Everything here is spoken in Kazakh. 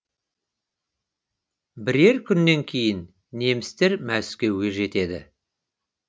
бірер күннен кейін немістер мәскеуге жетеді